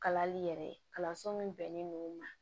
Kalali yɛrɛ ye kalanso min bɛnnen don ma